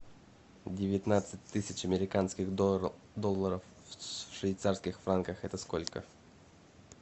девятнадцать тысяч американских долларов в швейцарских франках это сколько